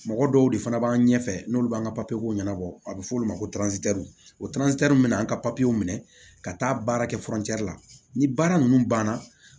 Mɔgɔ dɔw de fana b'an ɲɛfɛ n'olu b'an ka ɲɛnabɔ a bɛ f'olu ma ko o bɛ na an ka minɛ ka taa baara kɛ la ni baara ninnu banna